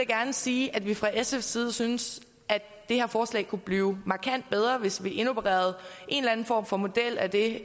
gerne sige at vi fra sfs side synes at det her forslag kunne blive markant bedre hvis vi indopererede en eller anden form for model af det